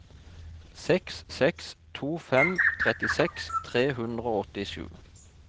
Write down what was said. seks seks to fem trettiseks tre hundre og åttisju